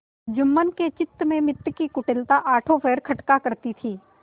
जुम्मन के चित्त में मित्र की कुटिलता आठों पहर खटका करती थी